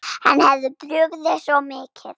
Henni hafði brugðið svo mikið.